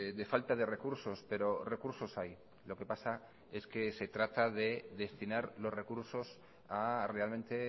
de falta de recursos pero recursos hay lo que pasa es que se trata de destinar los recursos a realmente